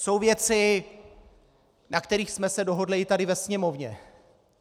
Jsou věci, na kterých jsme se dohodli i tady ve Sněmovně.